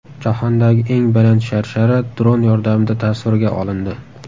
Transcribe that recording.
Jahondagi eng baland sharshara dron yordamida tasvirga olindi.